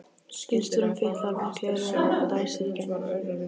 Bílstjórinn fitlar við gleraugun og dæsir í gegnum nefið.